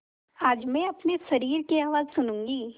आज मैं अपने शरीर की आवाज़ सुनूँगी